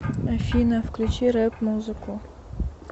афина включи рэп музыку